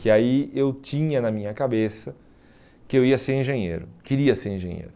Que aí eu tinha na minha cabeça que eu ia ser engenheiro, queria ser engenheiro.